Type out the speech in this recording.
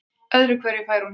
Öðru hverju fær hún heimþrá.